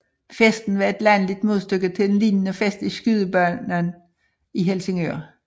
Festen var et landligt modstykke til en lignende fest i Skydebanen i Helsingør